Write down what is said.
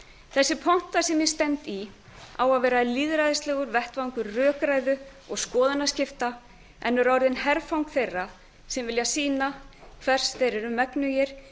þessi ponta sem ég stend í á að vera lýðræðislegur vettvangur rökræðu og skoðanaskipta en er orðin herfang þeirra sem vilja sýna hvers þeir eru megnugir